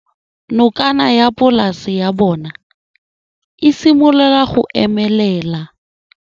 Nokana ya polase ya bona, e simolola go omelela.